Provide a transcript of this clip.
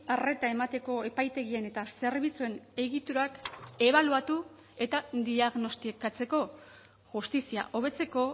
arreta emateko epaitegien eta zerbitzuen egiturak ebaluatu eta diagnostikatzeko justizia hobetzeko